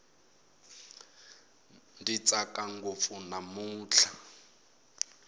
ndzi tsaka ngopfu namutlha